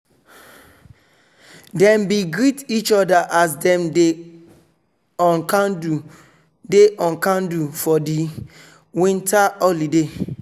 dem bin greet each other as dem dey on candle dey on candle for di winter holiday.